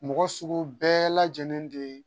Mɔgɔ sugu bɛɛ lajɛlen de ye